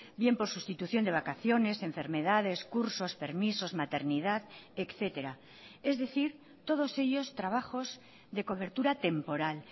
bien por sustitución de vacaciones enfermedades cursos permisos maternidad etcétera es decir todos ellos trabajos de cobertura temporal